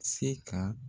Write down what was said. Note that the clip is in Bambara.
Se ka